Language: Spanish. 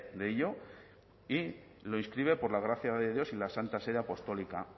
de ello y lo inscribe por la gracia de dios y la santa sede apostólica